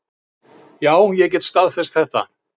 Já, ég get staðfest þetta.